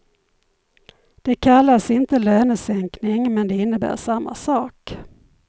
Det kallas inte lönesänkning men det innebär samma sak.